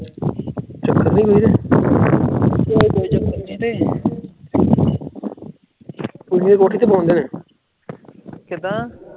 ਕਿੱਦਾਂ?